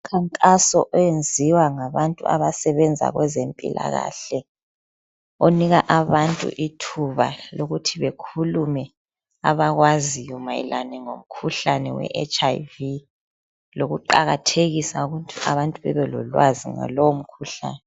Umkhankaso oyenziwa ngabantu abasebenza kwezempilakahle onika abantu ithuba lokuthi bekhulume abakwaziyo mayelani ngomkhuhlane we HIV lokuqakathekisa ukuthi abantu bebelolwazi ngalowomkhuhlane.